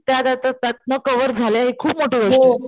त्या त्या त्या त्यातनं कव्हर झाल्या हि खूप मोठी गोष्ट.